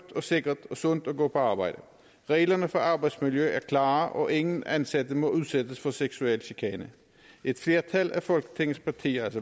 sikkert og sundt at gå på arbejde reglerne for arbejdsmiljø er klare og ingen ansatte må udsættes for seksuel chikane et flertal af folketingets partier